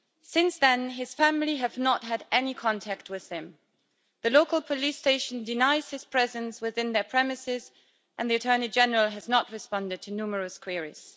Since then, his family have not had any contact with him, the local police station denies his presence within their premises, and the Attorney General has not responded to numerous queries.